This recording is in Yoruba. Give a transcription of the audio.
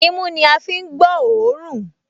Imú ní a fi ń gbọ́ òórùn